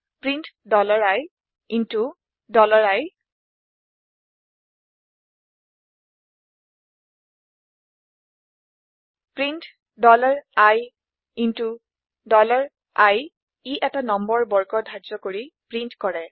print ii print ii ই এটা নম্বৰ বৰ্গ ধাৰ্য্য কৰি প্ৰীন্ট কৰে